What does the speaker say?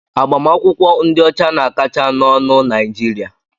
Agbamakwụkwọ ndị ọcha na-akacha n'ọnụ na Naịjirịa.